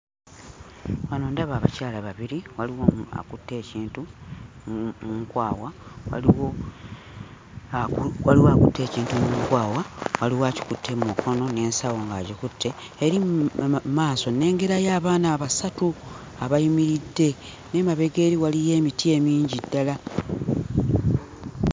Wano ndaba abakyala babiri, waliwo omu akutte ekintu mu nkwawa, waliwo aku waliwo ekintu mu nkwawa, waliwo akikutte mu mukono n'ensawo ng'agikutte. Eri mu maaso nnengerayo abaana basatu abayimiridde, n'emabega eri waliyo emiti emingi ddala.